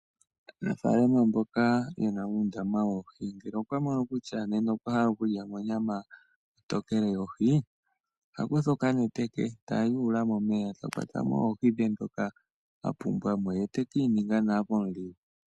Aanafaalama mboka ye na uundama woohi ngele okwamono kutya nena okwahala okulya monyama ontokele yohi, ohakutha okanete ke tayuula momeya, ta kwata mo oohi dhe ndhoka a pumbwa mo ye tekiininga nawa pomuligu.